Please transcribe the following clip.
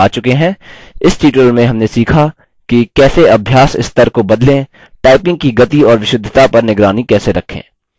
इस tutorial में हमने सीखा कि कैसे अभ्यास स्तर को बदलें typing की गति और विशुद्धता पर निगरानी कैसे रखें